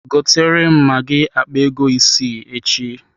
Gotere m magi akpa ego isi echi.